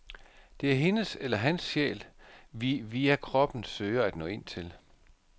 Det er hendes eller hans sjæl, vi via kroppen søger at nå ind til.